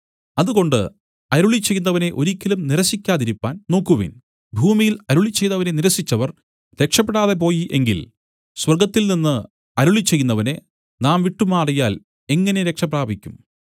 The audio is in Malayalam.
അതുകൊണ്ട് അരുളിച്ചെയ്യുന്നവനെ ഒരിക്കലും നിരസിക്കാതിരിപ്പാൻ നോക്കുവിൻ ഭൂമിയിൽ അരുളിച്ചെയ്തവനെ നിരസിച്ചവർ രക്ഷപെടാതെ പോയി എങ്കിൽ സ്വർഗ്ഗത്തിൽനിന്ന് അരുളിച്ചെയ്യുന്നവനെ നാം വിട്ടുമാറിയാൽ എങ്ങനെ രക്ഷപ്രാപിക്കും